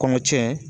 Kɔnɔ tiɲɛ